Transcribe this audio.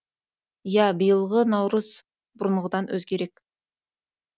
иә биылғы наурыз бұрынғыдан өзгерек